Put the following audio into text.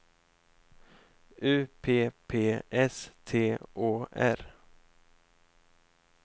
U P P S T Å R